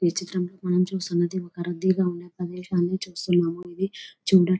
ఈ చిత్రంలో మనం చూస్తున్నది ఒక రద్దీగా ఉన్న ప్రదేశం నీ చూస్తున్నాము ఇది చూడడాని --